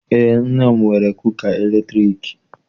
Eé, nne m nwere kuka latriki.